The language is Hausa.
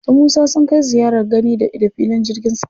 Su Musa sun kai ziyarar gani-da-ido filin jirgin sama.